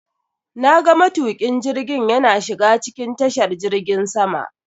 Na ga matukin jirgiin yana shiga cikin tashar jirgin sama.